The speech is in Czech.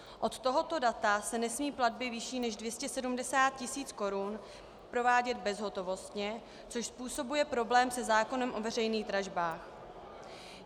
Od tohoto data se nesmí platby vyšší než 270 tisíc korun provádět bezhotovostně, což způsobuje problém se zákonem o veřejných dražbách.